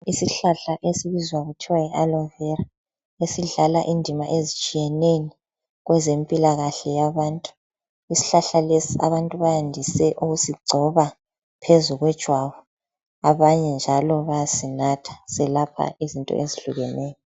Isihlahla esibizwa kuthiwa yi alovera. Esidlala indima ezitshiyeneyo kweze mpilakahle yabantu. Ishlahla lesi abantu bayandise ukusigcoba phezu kwe jwabu. Abanye njalo bayasinatha. Selapha izinto ezihlukeneyo.